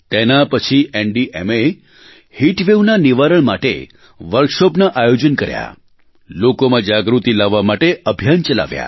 તેના પછી એનડીએમએહીટવેવના નિવારણ માટે વર્કશોપનાં આયોજન કર્યા લોકોમાં જાગૃતિ લાવવા માટે અભિયાન ચલાવ્યા